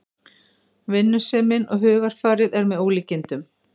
Vinnusemin og hugarfarið er með ólíkindum